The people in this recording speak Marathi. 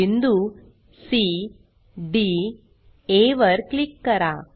बिंदू cडी आ वर क्लिक करा